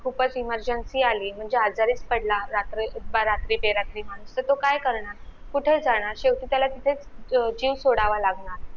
खूपच emergency आली म्हणजे आजारीच पडला रात्री बे रात्री तर तो काय करनार कुठे जाणार शेवटी तितेच जीव सोडायला लागणार